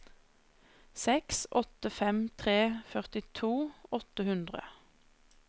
seks åtte fem tre førtito åtte hundre